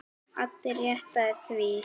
Addi reddaði því.